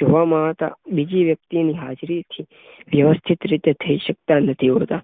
જોવા મળતા બીજી વ્યક્તિની હાજરીથી વ્યથિત રીતે થઇ સકતા નથી હોતા.